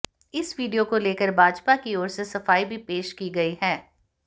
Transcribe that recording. इस वीडियो को लेकर भाजपा की ओर से सफाई भी पेश की गई है